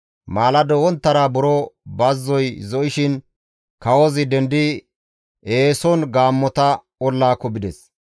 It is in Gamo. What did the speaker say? Maalado wonttara buro bazzoy zo7ishin kawozi dendidi eeson gaammota ollaako bides.